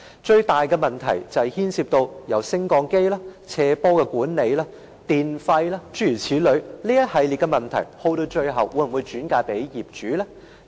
最大的問題是牽涉到升降機的維修、斜坡管理、電費，諸如此類，這一系列的問題最後會否由業主承擔呢？